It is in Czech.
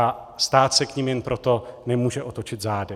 A stát se k ní jen proto nemůže otočit zády.